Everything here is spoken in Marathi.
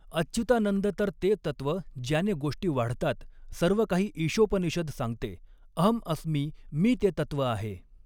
अच्युतानंद तर ते तत्व ज्याने गोष्टी वाढतात सर्वकाही ईषोपनिषद सांगते अहं अस्मि मी ते तत्व आहे.